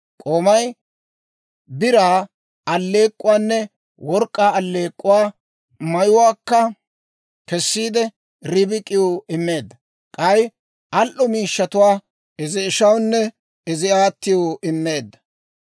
K'oomay biraa alleek'k'uwaanne work'k'aa alleek'k'uwaa, mayuwaakka kessiide, Ribik'iw immeedda; k'ay al"o miishshatuwaa izi ishawunne izi aatiw immeedda.